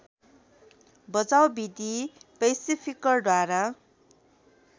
बचाउ विधि पैसिफिकरद्वारा